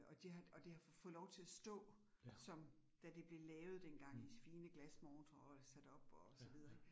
Og de har, og det har fået lov til at stå som da det blev lavet dengang i fine glasmontrer og sat op og så videre ik